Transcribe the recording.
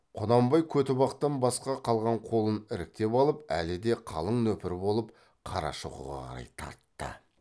құнанбай көтібақтан басқа қалған қолын іріктеп алып әлі де қалың нөпір болып қарашоқыға қарай тартты